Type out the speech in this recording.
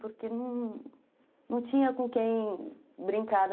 Porque não tinha com quem brincar.